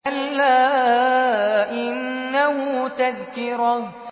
كَلَّا إِنَّهُ تَذْكِرَةٌ